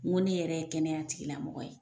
N ko ne yɛrɛ ye kɛnɛya tigilamɔgɔ ye.